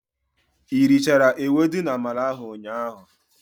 I richara ewedu na-amala ahụ ụnyaahụ?